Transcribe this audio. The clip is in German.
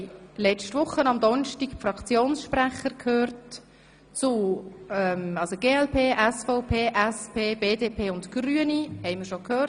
Letzte Woche haben wir am Donnerstag die Fraktionssprecher der glp, der SVP, der SP, der BDP und der Grünen gehört.